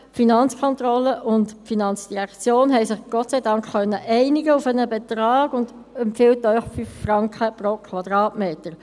Die Finanzkontrolle und die FIN konnten sich Gott sei Dank auf einen Betrag einigen und empfehlen Ihnen 5 Franken pro Quadratmeter.